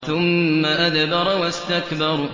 ثُمَّ أَدْبَرَ وَاسْتَكْبَرَ